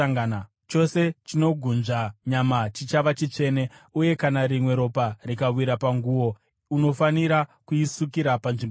Chose chinogunzva nyama chichava chitsvene, uye kana rimwe ropa rikawira panguo, unofanira kuisukira panzvimbo tsvene.